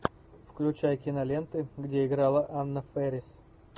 включай киноленты где играла анна фэрис